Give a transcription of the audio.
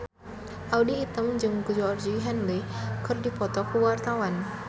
Audy Item jeung Georgie Henley keur dipoto ku wartawan